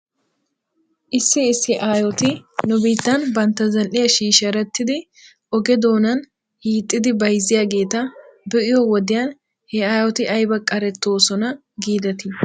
Issi issi aayoti nu biitta bantta zal'iyaa shiisherettidi oge doonan hiixxidi bayzziyaageeta be'iyoo wodiyan he aayoti ayba qarettoosona giidettii ?